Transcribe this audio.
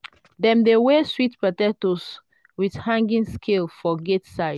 dem dey weigh sweet potatoes with hanging scale for gate side.